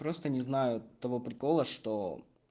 просто не знаю того прикола что